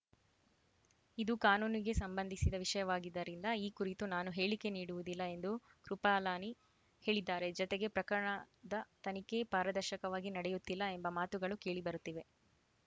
ಇದು ಕಾನೂನಿಗೆ ಸಂಬಂಧಿಸಿದ ವಿಷಯವಾಗಿದ್ದರಿಂದ ಈ ಕುರಿತು ನಾನು ಹೇಳಿಕೆ ನೀಡುವುದಿಲ್ಲ ಎಂದು ಕೃಪಲಾನಿ ಹೇಳಿದ್ದಾರೆ ಜತೆಗೆ ಪ್ರಕರಣದ ತನಿಖೆ ಪಾರದರ್ಶಕವಾಗಿ ನಡೆಯುತ್ತಿಲ್ಲ ಎಂಬ ಮಾತುಗಳು ಕೇಳಿಬರುತ್ತಿವೆ